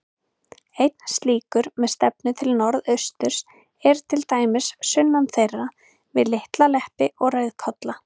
Einn slíkur, með stefnu til norðausturs, er til dæmis sunnan þeirra, við Litla-Leppi og Rauðkolla.